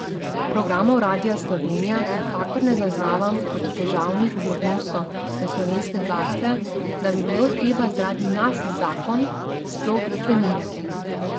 Programov Radia Slovenija nikakor ne zaznavam kot težavnih v odnosu do slovenske glasbe, da bi bilo treba zaradi nas zakon sploh spreminjati.